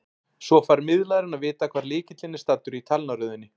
Svo fær miðlarinn að vita hvar lykillinn er staddur í talnaröðinni.